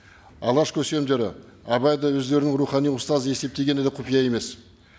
алаш көсемдері абайды өздерінің рухани ұстазы есептегені де құпия емес